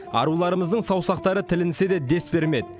аруларымыздың саусақтары тілінсе де дес бермеді